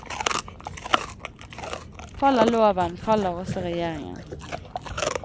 Faller loven, faller også regjeringen.